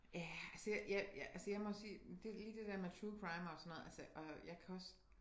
Ja altså jeg altså jeg må sige lige det dér med true crime og sådan noget altså og jeg kan også